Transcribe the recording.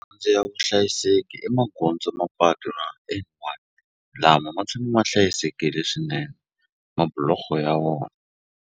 ya vuhlayiseki i magondzo mapatu lama ma tshama ma hlayisekile swinene mabuloho ya .